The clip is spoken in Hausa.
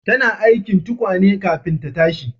Tana aikin tukwane kafin ta tashi